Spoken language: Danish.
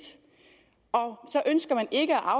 så ønsker man ikke